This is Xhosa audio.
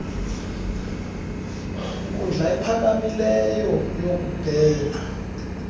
nkundla iphakamileyo yokubhena